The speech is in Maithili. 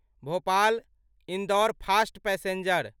Bhopal Indore fast passenger